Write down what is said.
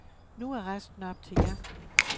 Nu er resten op til jer.